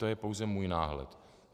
To je pouze můj náhled.